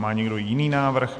Má někdo jiný návrh?